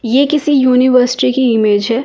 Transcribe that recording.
ये किसी यूनिवर्सिटी की इमेज है ।